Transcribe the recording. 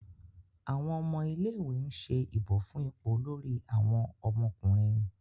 Àwọn ọmọ ilé ìwé ń ṣe ìbò fún ipò Olórí àwọn ọmọkùnrin